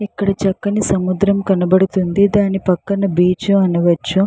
ఇక్కడ చక్కని సముద్రం కనబడుతుంది. దాని పక్కన బీచ్ అనవచ్చు.